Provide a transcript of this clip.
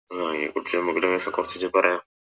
ആഹ് അയില കുറിച്ച് ഞമ്മക്ക് ലേശം കൊറച്ചീച്ചേ പറയാ